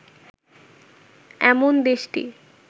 'এমন দেশটি